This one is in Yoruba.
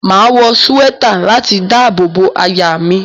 Máa wọ súwẹ́tà láti dábò bo àyà mi.